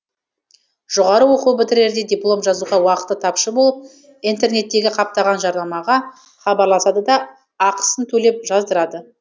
жоғары оқу бітірерде диплом жазуға уақыты тапшы болып интернеттегі қаптаған жарнамаға хабарласады да ақысын төлеп жаздырады